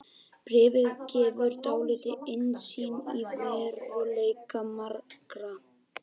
Bréfið gefur dálitla innsýn í veruleika margra.